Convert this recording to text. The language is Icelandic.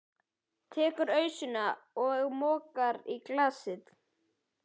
Tekur ausuna og mokar í glasið.